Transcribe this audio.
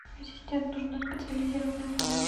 ассистент нужна специализированная помощь